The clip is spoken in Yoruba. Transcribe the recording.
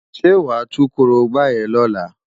Ṣé wàá tú korobá yẹn lọ́la?